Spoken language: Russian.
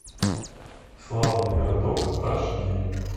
славный городок аш ди